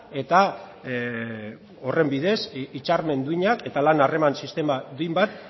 eta horren bidez hitzarmen duinak eta lan harreman sistema duin bat